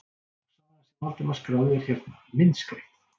Og sagan sem Valdimar skráði er hérna, myndskreytt.